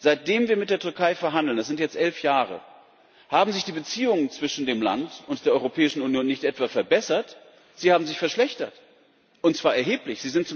Seit wir mit der Türkei verhandeln es sind jetzt elf Jahre haben sich die Beziehungen zwischen dem Land und der Europäischen Union nicht etwa verbessert, sie haben sich verschlechtert, und zwar erheblich.